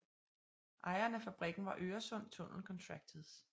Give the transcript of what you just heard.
Ejeren af fabrikken var Øresund Tunnel Contractors